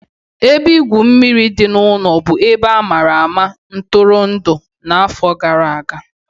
Ebe igwu mmiri dị n'ụlọ bụ ebe a ma ama maka ntụrụndụ n'afọ gara aga.